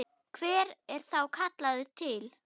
Hver er þá kallaður til?